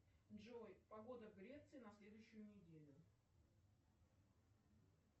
джой погода в греции на следующую неделю